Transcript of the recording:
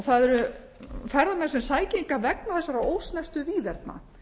það eru ferðamenn sem sækja hingað vegna þessara ósnortnu víðerna